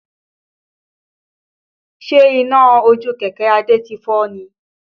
Ṣe iná ojú kẹ̀kẹ́ Adé ti fọ́ ni?